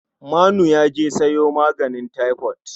Manu ya je sayo maganin taifot.